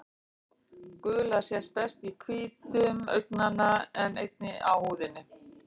Gula sést best í hvítum augnanna en einnig á húðinni.